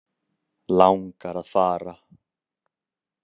Langar að fara.